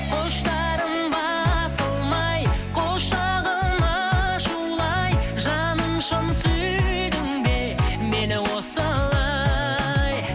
құштарым басылмай құшағым ашулы ай жаным шын сүйдің бе мені осылай